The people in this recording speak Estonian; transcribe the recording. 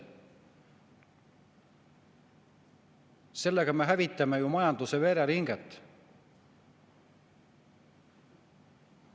Sellega me hävitame ju majanduse vereringet.